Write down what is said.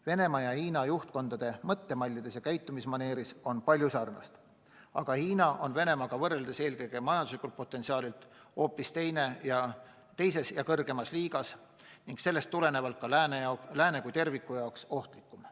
Venemaa ja Hiina juhtkonna mõttemallides ja käitumismaneeris on palju sarnast, aga Hiina on Venemaaga võrreldes eelkõige majanduse potentsiaalilt hoopis teises ja kõrgemas liigas ning sellest tulenevalt ka Lääne kui terviku jaoks ohtlikum.